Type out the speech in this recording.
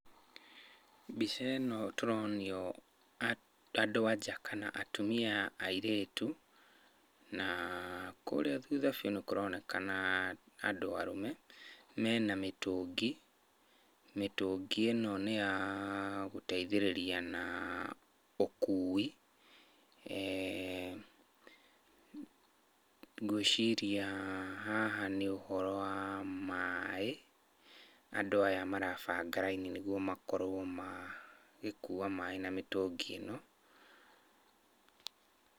Mbica ĩno tũronio andũ a nja kana atumia, airĩtu na kũria thutha biu nĩ kuroneka andũ arũme. Mena mĩtũngi. Mĩtũngi ĩno nĩ ya gũteithĩrĩria na ũkuui. Ngwĩciria haha nĩ ũhoro wa maaĩ. Andũ aya marabanga raini nĩguo makorwo magĩkua maaĩ na mĩtũngi ĩno.